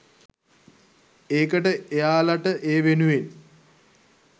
ඒකට එයාලට ඒ වෙනුවෙන්